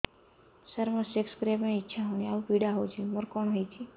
ସାର ମୋର ସେକ୍ସ କରିବା ପାଇଁ ଇଚ୍ଛା ହଉନି ଆଉ ପୀଡା ହଉଚି ମୋର କଣ ହେଇଛି